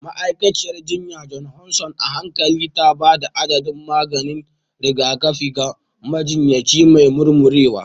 Ma'aikaciyar jinya Johnson a hankali ta ba da adadin maganin rigakafi ga majinyaci mai murmurewa.